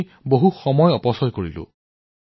আমি বহু সময় হেৰুৱাইছো